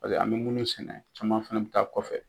Paseke an bɛ minnu sɛnɛ, caman fɛnɛ bɛ taa kɔfɛ